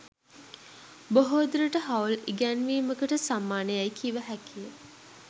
බොහෝ දුරට හවුල් ඉගැන්වීමකට සමාන යැයි කිව හැකි ය.